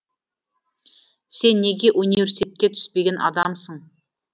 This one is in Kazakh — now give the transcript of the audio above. сен неге университетке түспеген адамсың